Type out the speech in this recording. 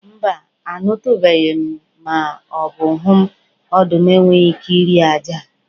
Mba, anụtụbeghị m ma ọ bụ hụ m, ọdụm enweghị ike iri ájá.